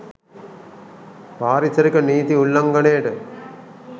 පාරිසරික නීති උල්ලංඝනයට